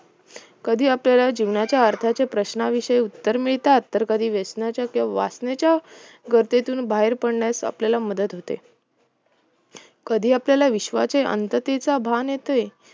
कधी आपल्याला जीवनाच्या अर्थाचे प्रश्नाविषयी उत्तर मिळतात तर कधी व्यसनेच्या किंवा वासनेच्या गर्दीतून बाहेर पडण्यास आपल्याला मदत होते कधी आपल्याला विश्वाचे अंततेचे भान येते